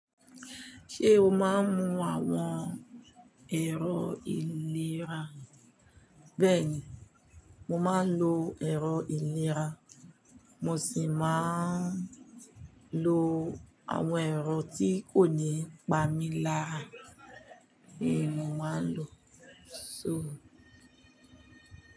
Ṣé o máa ń mu àwọn ẹ̀rọ ìlera? Bẹ́ẹ̀ni mo máa ń lo ẹ̀rọ ìlera. Mo sì máa ń lo àwọn ẹ̀rọ tí kò ní pami lára bí mo máa ń lò. So.